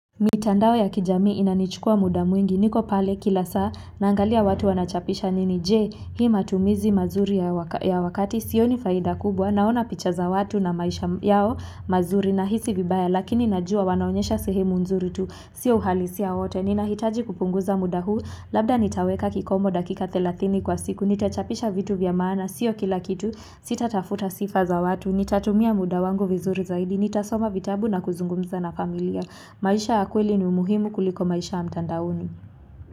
Mitandao ya kijamii inanichukua muda mwingi niko pale kila saa naangalia watu wanachapisha nini je hii matumizi mazuri ya wakati sioni faida kubwa naona picha za watu na maisha yao mazuri nahisi vibaya lakini najua wanaonyesha sehemu nzuri tu sio uhalisia wote ninahitaji kupunguza muda huu labda nitaweka kikomo dakika thelathini kwa siku nitachapisha vitu vya maana sio kila kitu sitatafuta sifa za watu nitatumia muda wangu vizuri zaidi nitasoma vitabu na kuzungumza na familia. Maisha ya kweli ni umuhimu kuliko maisha ya mtandaoni.